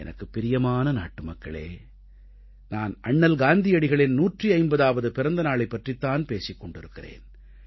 எனக்குப் பிரியமான நாட்டுமக்களே நான் அண்ணல் காந்தியடிகளின் 150ஆவது பிறந்த நாளைப் பற்றித் தான் பேசிக் கொண்டிருக்கிறேன்